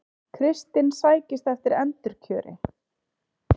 Kristinn sækist eftir endurkjöri